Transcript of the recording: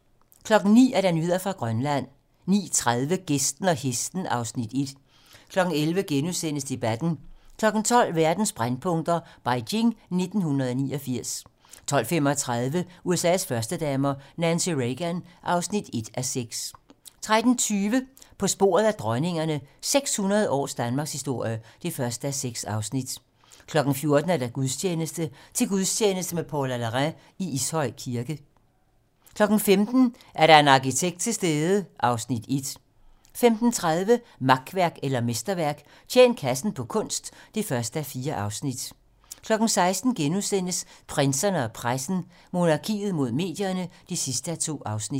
09:00: Nyheder fra Grønland 09:30: Gæsten og hesten (Afs. 1) 11:00: Debatten * 12:00: Verdens brændpunkter: Beijing 1989 12:35: USA's førstedamer - Nancy Reagan (1:6) 13:20: På sporet af dronningerne - 600 års danmarkshistorie (1:6) 14:00: Gudstjeneste: Til gudstjeneste med Paula Larrain i Ishøj Kirke 15:00: Er der en arkitekt til stede? (Afs. 1) 15:30: Makværk eller mesterværk - Tjen kassen på kunst (1:4) 16:00: Prinserne og pressen - Monarkiet mod medierne (2:2)*